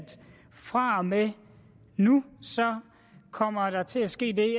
fra og med nu kommer der til at ske det